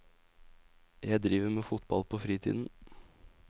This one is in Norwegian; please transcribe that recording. Jeg driver med fotball på fritiden.